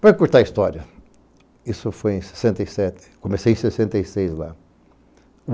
Para curtar a história, isso foi em sessenta e sete, comecei em sessenta e seis lá.